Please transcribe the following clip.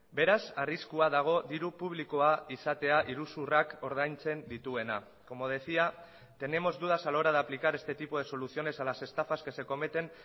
beraz arriskua dago diru publikoa izatea iruzurrak ordaintzen dituena como decía tenemos dudas a la hora de aplicar este tipo de soluciones a las estafas que se cometen